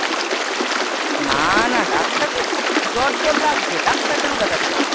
না না doctor কে জ্বর- জ্বর লাগছে doctor কেন দেখাতে যাবো?